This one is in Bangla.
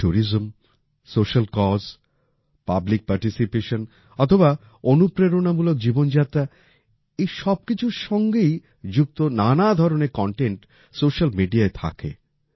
tourism social cause public participation অথবা অনুপ্রেরণামূলক জীবনযাত্রা এই সব কিছুর সাথেই যুক্ত নানা ধরনের কনটেন্ট সোশ্যাল মিডিয়ায় থাকে